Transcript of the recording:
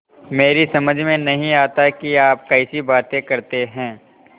मेरी समझ में नहीं आता कि आप कैसी बातें करते हैं